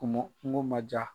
mon Kunko ma diya